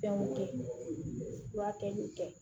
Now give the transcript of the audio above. Fɛnw furakɛli kɛ